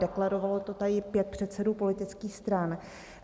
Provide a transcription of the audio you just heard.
Deklarovalo to tady pět předsedů politických stran.